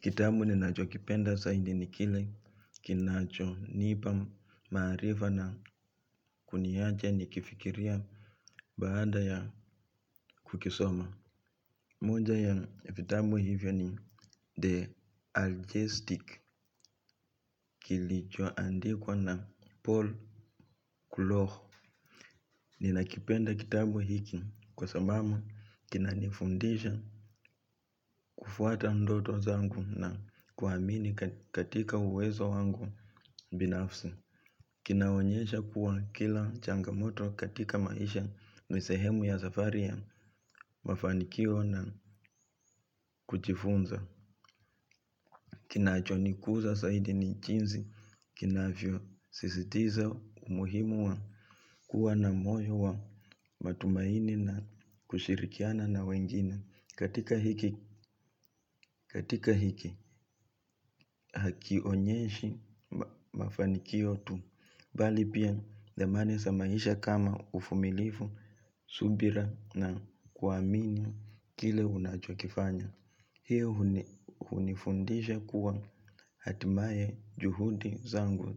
Kitabu ninachokipenda zaidi ni kile kinachonipa maarifa na kuniaje nikifikiria baada ya kukisoma. Moja ya vitabu hivyo ni The Algistic kilichoandikwa na Paul Kulohu. Ninakipenda kitabu hiki kwa sababu kinanifundisha kufuata ndoto zangu na kuhamini katika uwezo wangu binafsi. Kinaonyesha kuwa kila changamoto katika maisha ni sehemu ya safari ya mafanikio na kuchifunza. Kinaachonikuza zaidi ni jinsi kinavyosisitiza umuhimu wa kuwa na moyo wa matumaini na kushirikiana na wengine. Katika hiki hakionyeshi mafanikio tu, bali pia dhamani maisha kama ufumilifu, subira na kuamini kile unachokifanya. Pia hunifundisha kuwa atimaye juhudi zangu.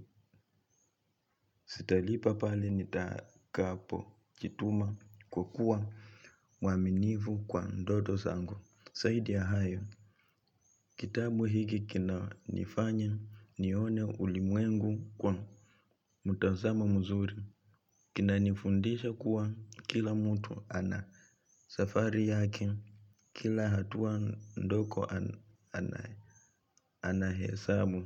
Sitalipa pali nitakapojituma kukua mwaminifu kwa ndodo zangu. Zaidi ya hayo kitabu hiki kinanifanya nione ulimwengu kwa mitazamo mzuri. Kina nifundisha kuwa kila mtu ana safari yake, kila hatua ndogo anahesabu.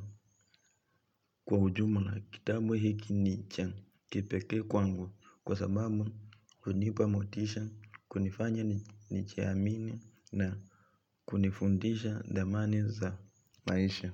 Kwa ujumla, kitabu hiki ni cha kipeke kwangu kwa sababu unipa motisha, kunifanya ni jiamini na kunifundisha damani za maisha.